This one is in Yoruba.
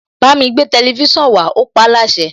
Bámi gbé tẹlifísàn wá, ó paáláṣẹ.